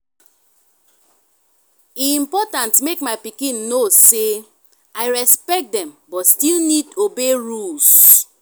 e important make my pikin know say i respect dem but still need obey rules.